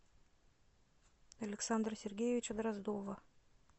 александра сергеевича дроздова